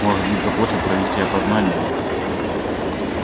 может быть попросят провести опознание